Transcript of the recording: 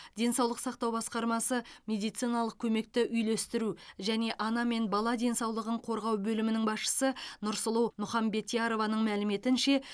денсаулық сақтау басқармасы медициналық көмекті үйлестіру және ана мен бала денсаулығын қорғау бөлімінің басшысы нұрсұлу мұхамбетярованың мәліметінше